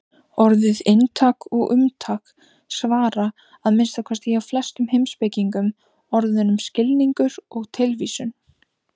Orðin inntak og umtak samsvara, að minnsta kosti hjá flestum heimspekingum, orðunum skilningur og tilvísun.